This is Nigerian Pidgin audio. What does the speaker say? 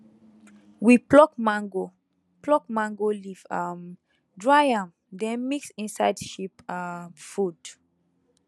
we pluck mango pluck mango leaf um dry am then mix inside sheep um food